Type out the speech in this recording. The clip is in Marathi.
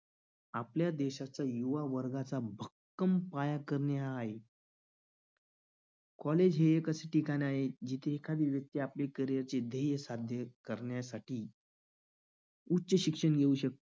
आपल्या देशाच्या युवा वर्गाचा भक्कम पाया करणे हा आहे. college हे एक असे ठिकाण आहे जिथे एखादी व्यक्ती आपले carrier चे ध्येय साध्य करण्यासाठी उच्च शिक्षण घेऊ शक